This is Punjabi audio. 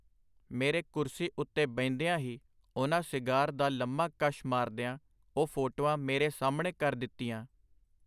ਮੇਰੇ ਕੁਰਸੀ ਉਤੇ ਬਹਿੰਦਿਆਂ ਹੀ ਉਹਨਾਂ ਸਿਗਾਰ ਦਾ ਲੰਮਾ ਕੱਸ਼ ਮਾਰਦਿਆਂ ਉਹ ਫੋਟੋਆਂ ਮੇਰੇ ਸਾਹਮਣੇ ਕਰ ਦਿੱਤੀਆਂ.